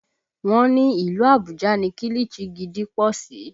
Wọ́n ní ní ìlú Àbújá ni kilichi gidi pọ̀ sí